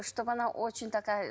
чтобы она очень такая